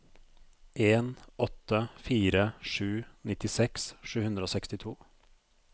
en åtte fire sju nittiseks sju hundre og sekstito